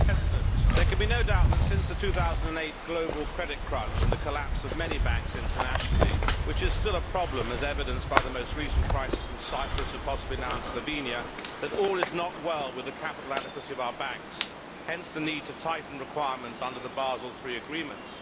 Mr President, there can be no doubt that, since the 2008 global credit crunch and the collapse of many banks internationally which is still a problem, as evidenced by the most recent crisis in Cyprus and possibly now in Slovenia all is not well with the capital adequacy of our banks, hence the need to tighten requirements under the Basel III agreements.